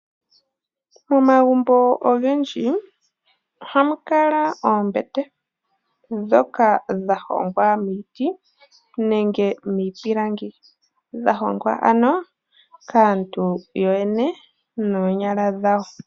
Momagumbo ogendji ohamu kala oombete ndhoka dha hongwa miiti nenge miipilangi dha hongwa ano kaantu yo yene noonyala dhawo.